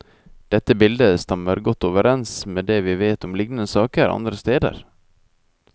Dette bildet stemmer godt overens med det vi vet om lignende saker andre steder.